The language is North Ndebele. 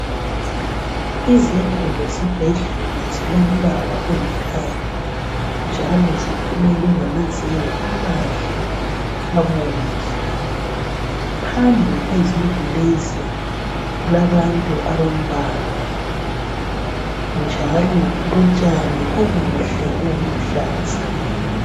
Izindlu zesibhedlela zilombala olithanga, njalo zifukelwe ngamazenge amahle abomvu. Phambi kwezindlu lezi kulabantu abambalwa, njalo kulotshani obuhle, obuluhlaza.